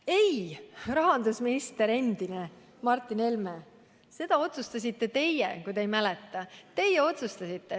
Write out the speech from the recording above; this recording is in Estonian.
Ei, endine rahandusminister Martin Helme, seda otsustasite teie!